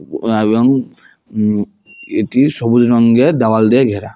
এ্যা এবং উম এটি সবুজ রঙ্গের দেওয়াল দিয়ে ঘেরা।